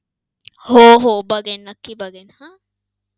हो हो. बघेन. नक्की बघेन. आह